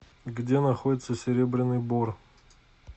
где находится серебряный бор